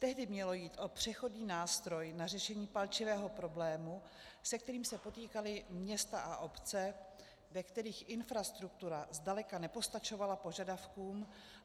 Tehdy mělo jít o přechodný nástroj na řešení palčivého problému, se kterým se potýkala města a obce, ve kterých infrastruktura zdaleka nepostačovala požadavkům.